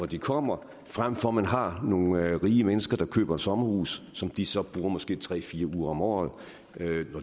de kommer frem for at man har nogle rige mennesker der køber et sommerhus som de så måske bruger tre fire uger om året